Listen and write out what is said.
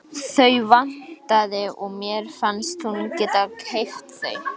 Þau vantaði og mér fannst hún geta keypt þau.